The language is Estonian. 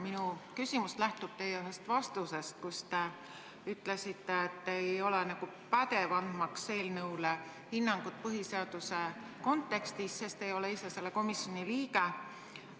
Minu küsimus lähtub ühest teie vastusest, kus te ütlesite, et te ei ole nagu pädev andmaks eelnõule hinnangut põhiseaduse kontekstis, sest te ei ole selle komisjoni liige.